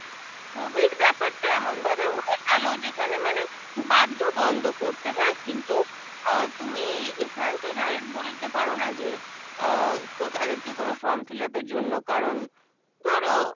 COVID ব্যাপারটা এমন ভাবে হয়ে গেল যেখানে মানে বাধ্য বন্দ করতে, হ্যাঁ কিন্তু আহ তুমি এখানে তো direct বলে দিতে পারো না যে আহ তাদেরকে কোনো form fill up এর জন্য কারণ ধরো